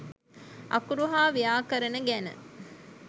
අකුරු සහ ව්‍යාකරණ ගැන